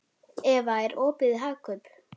Eva, er opið í Hagkaup?